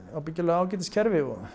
ágætis kerfi og